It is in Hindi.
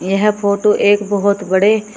यह फोटो एक बहोत बड़े--